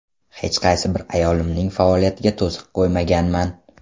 Hech qaysi bir ayolimning faoliyatiga to‘siq qo‘ymaganman.